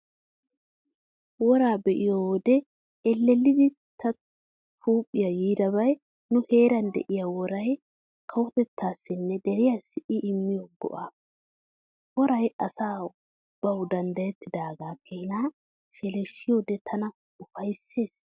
Woraa be'iyo wode ellellidi ta huuphiyan yiidabay nu heeran de'iyaa woray kawotettaassinne deriyaassi I immiyo go'aa. Woraa asay bawu danddayettaagaa keenaa sheleeshshiyoode tana ufayssees.